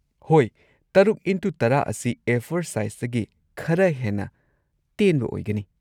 ꯍꯣꯏ, ꯶x꯱꯰ ꯑꯁꯤ ꯑꯦ꯴ ꯁꯥꯏꯖꯇꯒꯤ ꯈꯔ ꯍꯦꯟꯅ ꯇꯦꯟꯕ ꯑꯣꯏꯒꯅꯤ꯫